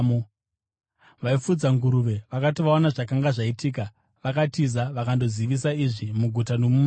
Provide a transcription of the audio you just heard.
Vaifudza nguruve vakati vaona zvakanga zvaitika, vakatiza vakandozivisa izvi muguta nomuruwa,